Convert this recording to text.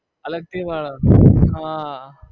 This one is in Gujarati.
અલગથી માણો હા